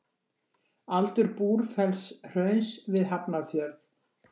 Aldur Búrfellshrauns við Hafnarfjörð.